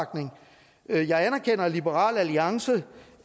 er opbakning jeg anerkender at liberal alliance